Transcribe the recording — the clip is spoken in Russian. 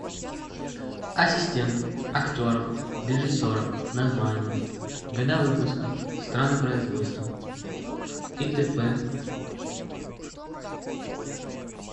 ассистент актеров режиссеров названия года выпуска страны производства и т п